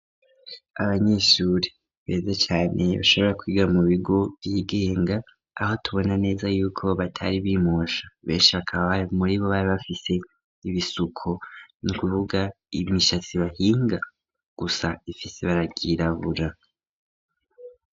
Abanyeshure beza cane bashobora kwiga mu bigo vyigenga, aho tubona neza yuko batari bimosha, benshi bakaba muribo bari bafise ibisuko, ni kuvuga imishatsi bahinga gusa ifise ibara ryirabura.